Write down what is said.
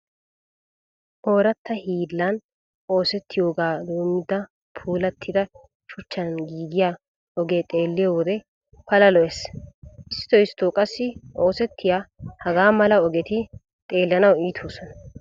Ooratta hiillan oosettiyogaa doommida puulattida shuchchan giigiya ogee xeelliyo wode pala lo"ees. Issitoo issitoo qassi oosettiya hagaa mala ogeti xeellanawu iitoosona.